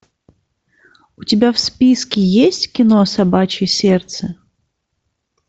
у тебя в списке есть кино собачье сердце